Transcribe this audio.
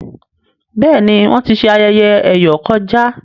béèni Wón tí ṣe ayẹyẹ eyọ kọjá.